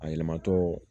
A yɛlɛmatɔ